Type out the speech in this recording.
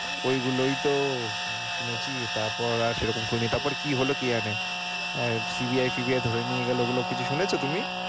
ওইগুলোই তো শুনেছি তারপর আর সেরকম শুনি নি কি হলো কি জানে? CBI, CBI ধরে নিয়ে গেল ওগুলো কিছু শুনেছো তুমি?